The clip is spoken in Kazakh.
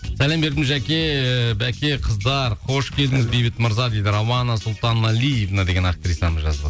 сәлем бердім жаке баке қыздар қош келдіңіз бейбіт мырза дейді рауана сұлтаналиевна деген актрисамыз жазып